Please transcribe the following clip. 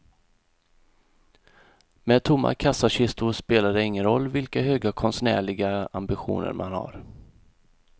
Med tomma kassakistor spelar det ingen roll vilka höga konstnärliga ambitioner man har.